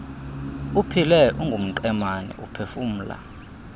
uphile ungumqemane uphefumla